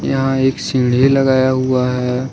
यहां एक सीढ़ी लगाया हुआ है।